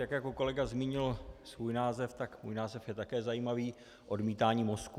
Tak jako kolega zmínil svůj název, tak můj název je také zajímavý: odmítání mozků.